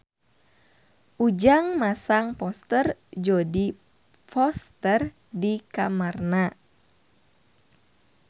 Ujang masang poster Jodie Foster di kamarna